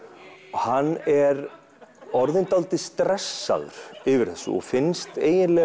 hann er orðinn svolítið stressaður fyrir þessu og finnst